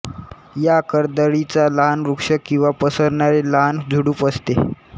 या करदळीचा लहान वृक्ष किंवा पसरणारे लहान झुडूप असते